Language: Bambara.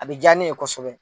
A bɛ diyanen ye kosɛbɛ